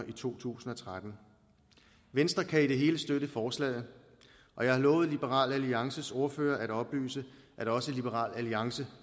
i to tusind og tretten venstre kan i det hele støtte forslaget og jeg har lovet liberal alliances ordfører at oplyse at også liberal alliance